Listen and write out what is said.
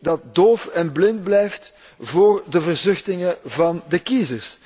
dat doof en blind blijft voor de verzuchtingen van de kiezers.